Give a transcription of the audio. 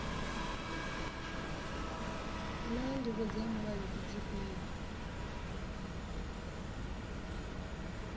naa ndivho dza mulayo ndi dzifhio